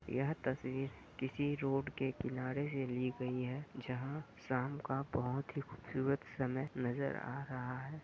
यह तस्वीर किसी रोड के किनारे से ली गई हैं जहाँ शाम का बहुत ही खूबसूरत समय नजर आ रहा है।